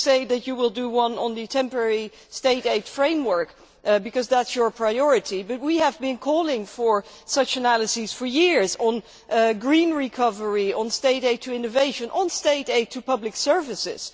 You say that you will do one on the temporary State aid framework because that is your priority, but we have been calling for such analyses for years on green recovery, on State aid to innovation, on State aid to public services.